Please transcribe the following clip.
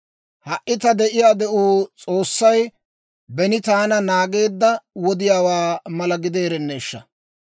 «Ha"i ta de'iyaa de'uu S'oossay beni taana naageedda wodiyaawaa mala gideerenneeshsha!